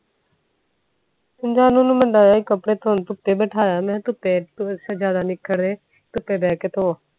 ਜਾਨੁ ਨੂੰ ਮੈਂ ਲਾਯਾ ਕੱਪੜੇ ਧੋਣ ਧੁੱਪੇ ਬਿਠਾਇਆ ਮੈਂ ਕਿਹਾ ਧੁੱਪੇ ਬੈ ਕੇ ਧੋ